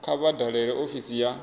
kha vha dalele ofisi ya